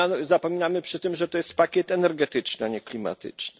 Zapominamy przy tym, że to jest pakiet energetyczny, a nie klimatyczny.